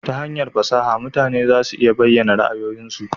Ta hanyar fasaha mutane za su iya bayyana ra'ayoyinsu